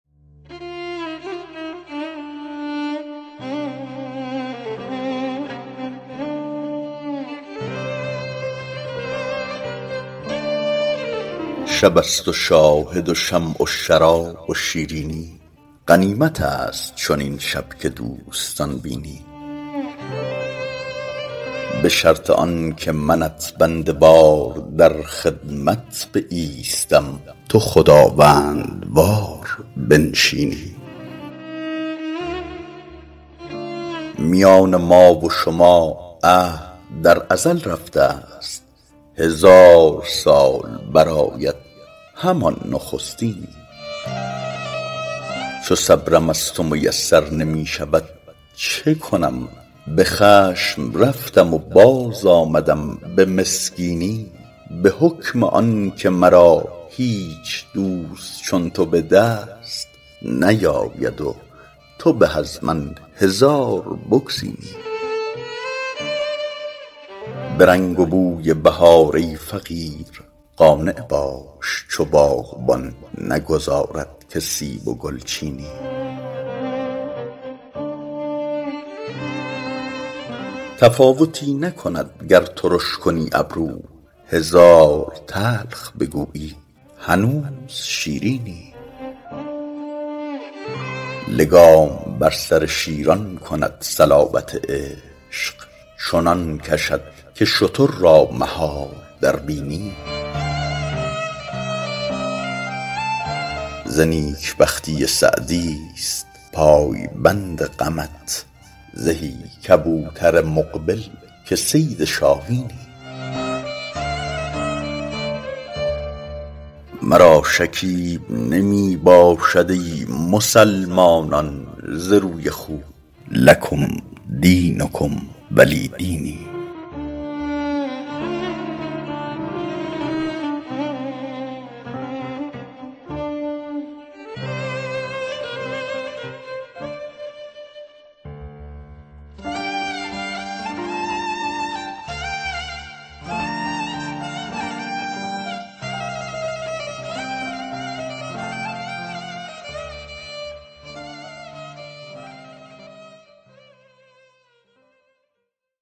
شب است و شاهد و شمع و شراب و شیرینی غنیمت است چنین شب که دوستان بینی به شرط آن که منت بنده وار در خدمت بایستم تو خداوندوار بنشینی میان ما و شما عهد در ازل رفته ست هزار سال برآید همان نخستینی چو صبرم از تو میسر نمی شود چه کنم به خشم رفتم و باز آمدم به مسکینی به حکم آن که مرا هیچ دوست چون تو به دست نیاید و تو به از من هزار بگزینی به رنگ و بوی بهار ای فقیر قانع باش چو باغبان نگذارد که سیب و گل چینی تفاوتی نکند گر ترش کنی ابرو هزار تلخ بگویی هنوز شیرینی لگام بر سر شیران کند صلابت عشق چنان کشد که شتر را مهار در بینی ز نیک بختی سعدی ست پایبند غمت زهی کبوتر مقبل که صید شاهینی مرا شکیب نمی باشد ای مسلمانان ز روی خوب لکم دینکم ولی دینی